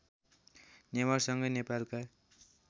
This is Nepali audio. नेवारसँगै नेपालका